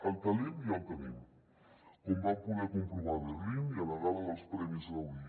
el talent ja el tenim com vam poder comprovar a berlín i a la gala dels premis gaudí